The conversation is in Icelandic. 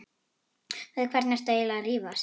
Við hvern ertu eiginlega að rífast?